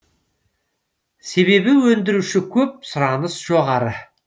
себебі өндіруші көп сұраныс жоғары